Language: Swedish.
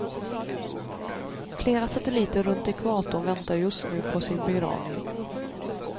Flera satelliter runt ekvatorn väntar just nu på sin begravning.